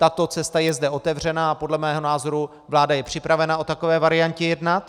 Tato cesta je zde otevřená a podle mého názoru je vláda připravena o takové variantě jednat.